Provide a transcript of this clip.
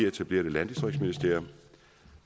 etableret et landdistriktsministerium